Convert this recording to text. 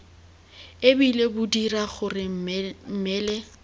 ebile bo dira gore mmele